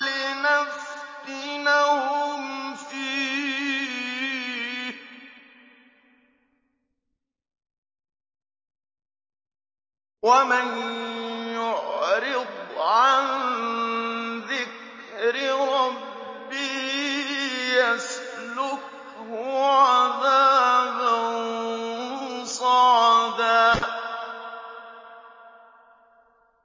لِّنَفْتِنَهُمْ فِيهِ ۚ وَمَن يُعْرِضْ عَن ذِكْرِ رَبِّهِ يَسْلُكْهُ عَذَابًا صَعَدًا